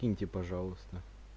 киньте пожалуйста